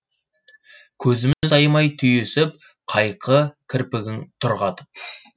көзіміз аймай түйісіп қайқы кірпігің тұр қатып